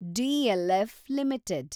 DLF limited